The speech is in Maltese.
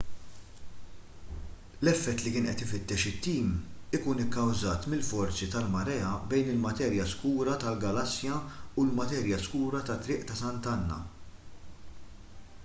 l-effett li kien qed ifittex it-tim ikun ikkawżat mill-forzi tal-marea bejn il-materja skura tal-galassja u l-materja skura tat-triq ta' sant'anna